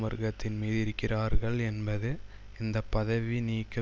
வர்க்கத்தின் மீது இருக்கிறார்கள் என்பது இந்த பதவி நீக்க